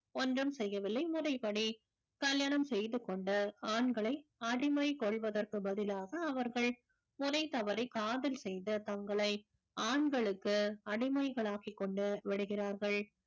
ஒன்றும் செய்யவில்லை முறைப்படி கல்யாணம் செய்து கொண்ட ஆண்களை அடிமை கொள்வதற்கு பதிலாக அவர்கள் ஒரே தவறை காதல் செய்த தங்களை ஆண்களுக்கு அடிமைகளாக்கிக் கொண்டு விடுகிறார்கள்